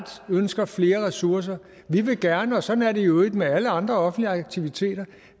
ønsker flere ressourcer vi vil gerne og sådan er det i øvrigt med alle andre offentlige aktiviteter